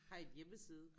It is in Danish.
Har I en hjemmeside?